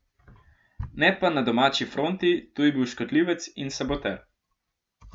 Ne pa na domači fronti, tu je bil škodljivec in saboter.